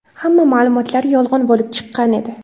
Hamma ma’lumotlar yolg‘on bo‘lib chiqqan edi.